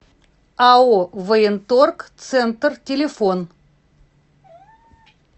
ао военторг центр телефон